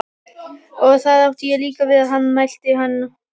Og þar átti ég líka við hann, mælti hann nú.